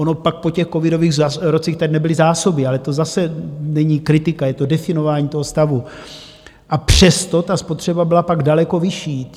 Ono pak po těch covidových rocích tady nebyly zásoby, ale to zase není kritika, je to definování toho stavu, a přesto ta spotřeba byla pak daleko vyšší.